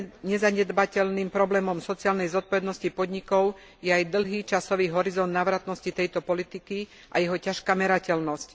Nezanedbateľným problémom sociálnej zodpovednosti podnikov je aj dlhý časový horizont návratnosti tejto politiky a jeho ťažká merateľnosť.